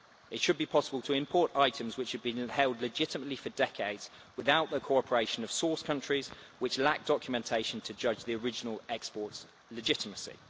It should be possible to import items which have been held legitimately for decades without the cooperation of source countries which lack documentation to judge the original export's legitimacy.